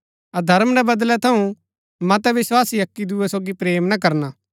अधर्म रै बदणै थऊँ मतै विस्वासी अक्की दूये सोगी प्रेम ना करना